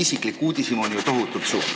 Aga mu uudishimu on tohutult suur.